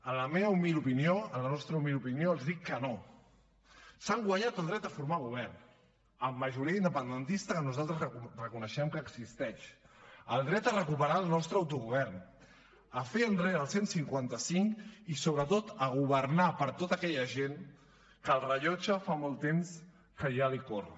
en la meva humil opinió en la nostra humil opinió els dic que no s’han guanyat el dret a formar govern amb majoria independentista que nosaltres reconeixem que existeix el dret a recuperar el nostre autogovern a fer enrere el cent i cinquanta cinc i sobretot a governar per tota aquella gent que el rellotge fa molt temps que ja els corre